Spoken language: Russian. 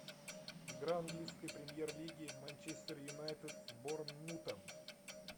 игра английской премьер лиги манчестер юнайтед с борнмутом